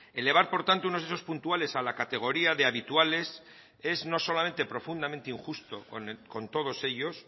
elevar por tanto unos hechos puntuales a la categoría de habituales es no solamente profundamente injustos con todos ellos